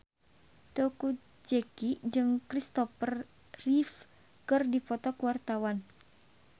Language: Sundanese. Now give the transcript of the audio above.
Teuku Zacky jeung Christopher Reeve keur dipoto ku wartawan